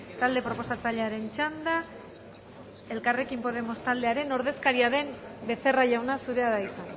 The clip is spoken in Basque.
talde proposatzailearen txanda elkarrekin podemos taldearen ordezkaria den becerra jauna zurea da hitza